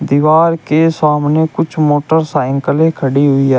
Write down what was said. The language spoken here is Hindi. दीवाल के सामने कुछ मोटरसाइकिलें खड़ी हुई है।